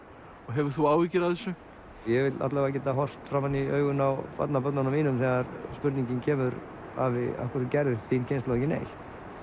hefur þú áhyggjur af þessu ég vil alla vega geta horft framan í augun á barnabörnunum þegar spurningin kemur afi af hverju gerði þín kynslóð ekki neitt